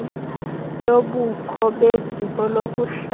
lobukho beziko lokuhlala